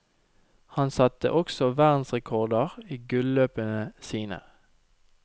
Han satte også verdensrekorder i gulløpene sine.